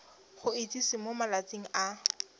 go itsise mo malatsing a